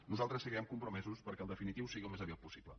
nosaltres seguirem compromesos perquè el definitiu sigui al més aviat possible